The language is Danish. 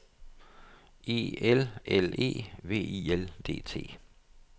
E L L E V I L D T